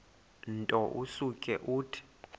nto usuke uthi